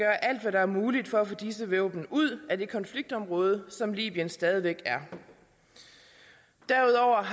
er muligt for at få disse våben ud af det konfliktområde som libyen stadig væk er derudover